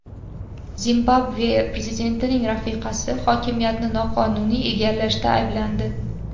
Zimbabve prezidentining rafiqasi hokimiyatni noqonuniy egallashda ayblandi.